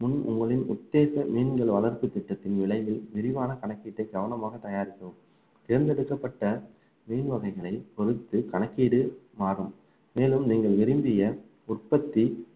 முன் உங்களின் உத்தேச மீன்கள் வளர்ப்பு திட்டத்தின் விலையில் விரிவான கணக்கீட்டை கவனமாக தயாரிக்கவும் தேர்ந்தெடுக்கப்பட்ட மீன் வகைகளை பொறுத்து கணக்கீடு மாறும் மேலும் நீங்கள் விரும்பிய உற்பத்தி